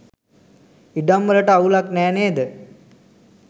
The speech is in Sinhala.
ඉඩම් වලට අවුලක් නෑ නේද?